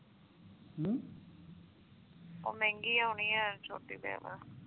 ਉਹ ਮਹਿੰਗੀ ਆਉਣੀ ਆ ਛੋਟੀ